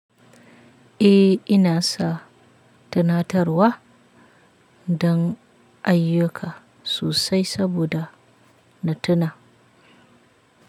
Eh ina sa tunatarwa don ayyuka sosai saboda na tuna.